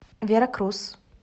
веракрус